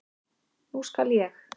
Nú skal ég.